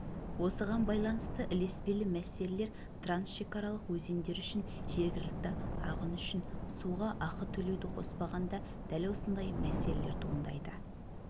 осыған байланысты ілеспелі мәселелер трансшекаралық өзендер үшін жергілікті ағын үшін суға ақы төлеуді қоспағанда дәл осындай мәселелер туындайды